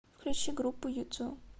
включи группу юту